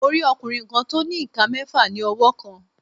Mo rí ọkùnrin kan tó ní ìka mẹ́ẹ̀fà ní ọwọ́ kan.